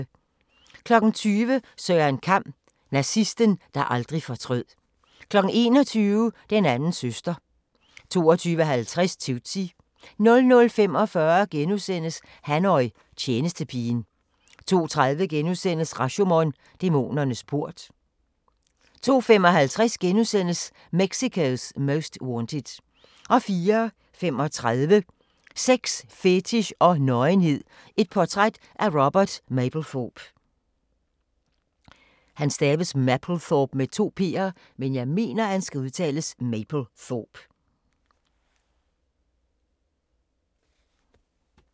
20:00: Søren Kam: Nazisten, der aldrig fortrød 21:00: Den anden søster 22:50: Tootsie 00:45: Hanyo – tjenestepigen * 02:30: Rashomon - dæmonernes port * 02:55: Mexico's Most Wanted * 04:35: Sex, fetich og nøgenhed – portræt af Robert Mapplethorpe